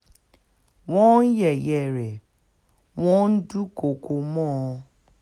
wọ́n ń yẹ̀yẹ́ rẹ̀ wọ́n ń dúnkookò mọ́ ọn